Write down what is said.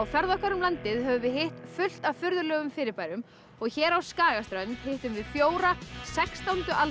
ferð okkar um landið höfum við hitt fullt af furðulegum fyrirbærum og hér á Skagaströnd hittum við fjóra sextándu